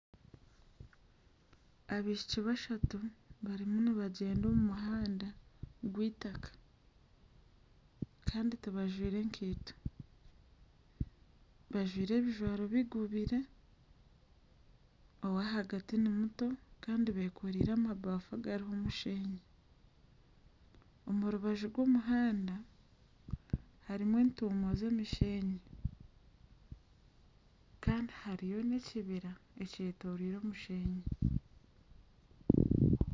Abaishiki bashatu barimu nibagyenda omu muhanda gweitaka kandi tibajwire nkaito bajwire ebijwaro bigubire, ow'ahagati ni muto kandi beekoreire amabaafu agarimu omusheenyi, omu rubaju rw'omuhanda hariho entumo z'omusheenyi kandi hariyo n'ekibira ekyetooriire omusheenyi